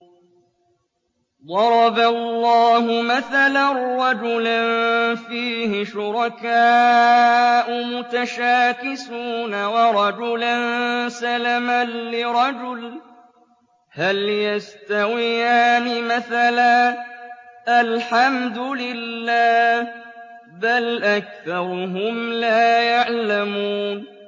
ضَرَبَ اللَّهُ مَثَلًا رَّجُلًا فِيهِ شُرَكَاءُ مُتَشَاكِسُونَ وَرَجُلًا سَلَمًا لِّرَجُلٍ هَلْ يَسْتَوِيَانِ مَثَلًا ۚ الْحَمْدُ لِلَّهِ ۚ بَلْ أَكْثَرُهُمْ لَا يَعْلَمُونَ